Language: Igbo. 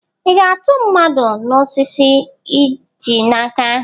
Ị ga-atụ mmadụ n'osisi i ji n'aka?